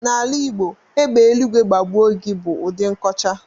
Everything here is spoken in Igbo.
N'ala Igbo, "égbè eluigwe gbagbuo gị" bụ ụdị nkọcha.